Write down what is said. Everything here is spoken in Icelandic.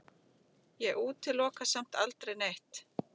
Ég útiloka samt aldrei neitt.